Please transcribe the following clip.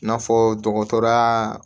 I n'a fɔ dɔgɔtɔrɔyaa